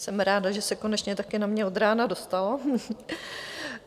Jsem ráda, že se konečně také na mě od rána dostalo.